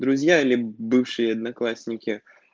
друзья или бывшие одноклассники